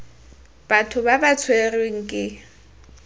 batho ba ba tshwerweng ke